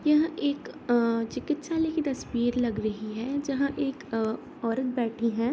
यह एक अ चिकित्सालय की तस्वीर लग रही है जहाँ एक अ औरत बैठी है।